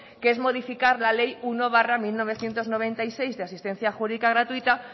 que es modificar la ley uno barra mil novecientos noventa y seis de asistencia jurídica gratuita